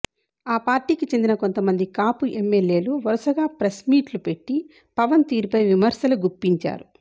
ఆ పార్టీకి చెందిన కొంతమంది కాపు ఎమ్మెల్యేలు వరుసగా ప్రెస్ మీట్లు పెట్టి పవన్ తీరుపై విమర్శలు గుప్పించారు